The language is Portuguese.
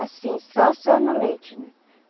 Assim, só, só no leite, né?